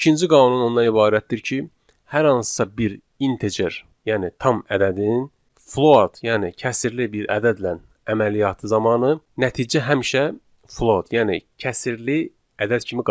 İkinci qanun ondan ibarətdir ki, hər hansısa bir integer, yəni tam ədədin float, yəni kəsrli bir ədədlə əməliyyatı zamanı nəticə həmişə float, yəni kəsrli ədəd kimi qayıdır.